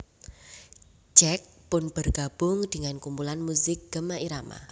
Jack pun bergabung dengan kumpulan muzik Gema Irama